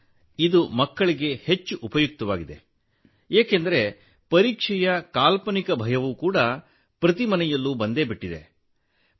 sir ಇದು ಮಕ್ಕಳಿಗೆ ಹೆಚ್ಚು ಉಪಯುಕ್ತವಾಗಿದೆ ಏಕೆಂದರೆ ಪರೀಕ್ಷೆಯ ಕಾಲ್ಪನಿಕ ಭಯವು ಪ್ರತಿ ಮನೆಯಲ್ಲೂ ಬಂದು ಬಿಟ್ಟಿದೆ